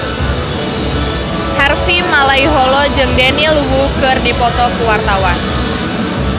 Harvey Malaiholo jeung Daniel Wu keur dipoto ku wartawan